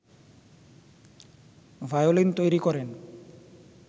violin তৈরি করেন